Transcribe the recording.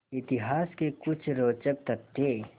इतिहास के कुछ रोचक तथ्य